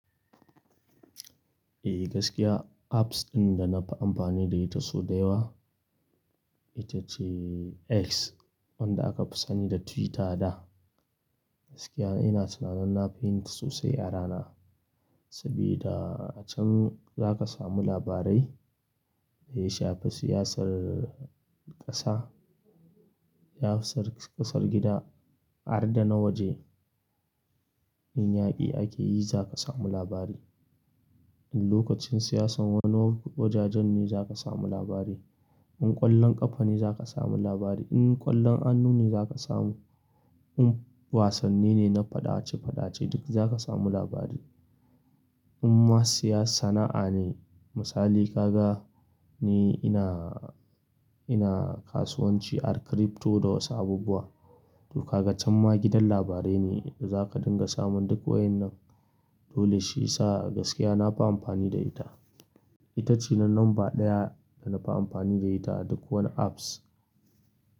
Eh gaskiya apps ɗin da na fi amfani da ita sau da yawa ita ce X wanda aka fi sani da Twitter a da. Gaskiya ina tunanin na yin shi sosai a rana, saboda a can za ka samu labarai da ya shafi siyasar ƙasa, siyasar ƙasar gida har da na waje. In yaƙi ake yi za ka samu labari, in lokacin siyasar wani wani wajajen ne za ka samu labari, in ƙwallon ƙafa ne za ka samu labari, in ƙwallon hannu ne za ka samu, in wasanni ne na faɗace-faɗace duk za ka samu labari. In ma siyasar sana'a ne misali ka ga ni ina, ina kasuwanci ar crypto da wasu abubuwa. To ka ga can ma gidan labarai ne da za ka dinga samun duk wayan nan. Dole shi ya sa gaskiya na fi amfani da ita. Ita ce na namba ɗaya da na fi amfani da ita duk wani apps.